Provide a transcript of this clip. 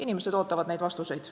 Inimesed ootavad neid vastuseid.